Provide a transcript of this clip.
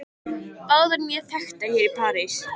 Báðar mjög þekktar hér í París.